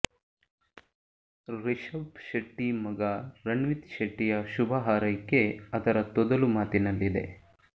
ರಿಷಬ್ ಶೆಟ್ಟಿ ಮಗ ರಣ್ವಿತ್ ಶೆಟ್ಟಿಯ ಶುಭ ಹಾರೈಕೆ ಅದರ ತೊದಲು ಮಾತಿನಲ್ಲಿದೆ